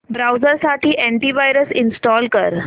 browser साठी antivirus install कर